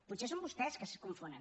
potser són vostès que es confonen